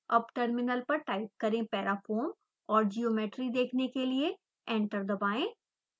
अब टर्मिनल पर टाइप करें parafoam और ज्योमेट्री देखने के लिए एंटर दबाएं